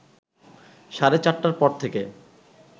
সাড়ে চারটার পর থেকে